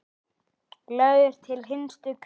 Lagður til hinstu hvílu?